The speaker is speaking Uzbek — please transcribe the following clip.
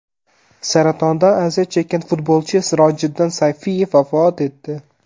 Saratondan aziyat chekkan futbolchi Sirojiddin Sayfiyev vafot etdi .